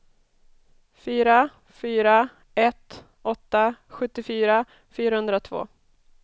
fyra fyra ett åtta sjuttiofyra fyrahundratvå